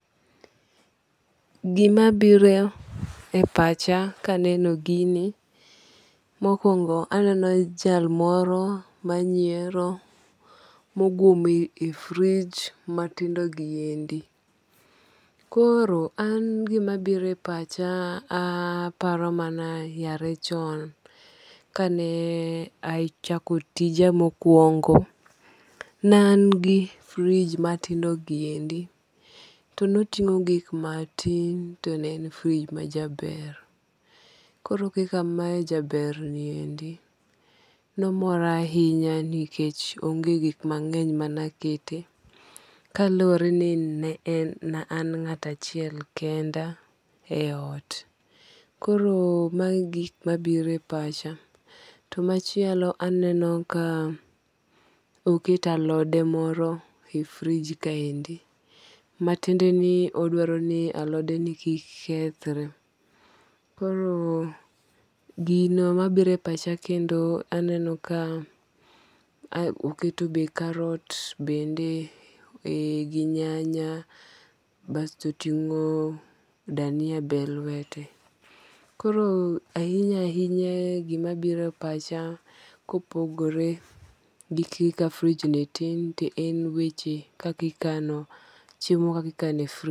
Gima biro e pacha kaneno gini, mokwongo aneno jal moro manyiero mogwom e fridge matindo gi endi. Koro an gima biro e pacha aparo mana yare chon kane achako tija mokwongo, ne an gi fridge matindo gi endi to noting'o gik matin to ne en fridge majaber. Koro kaka ma jaber ni endi, nomora ahinya nikech onge gik mang'eny mane aketie kaluwore ni ne an ng'ato achiel kenda e ot. Koro magi e gik mabiro e pacha. To machielo aneno ka oket alode moro e fridge kaendi. Matiende ni odwaro ni alode ni kik kethre. Koro gino mabiro e pacha kendo aneno ka oketo be karot bende gi nyanya basto oting'o dania be e lwete. Koro ahinya ahinya gima biro e pacha kopogore gi kika fridge ni tin to en weche kaki kano chiemo kakikano.